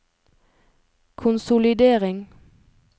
konsolidering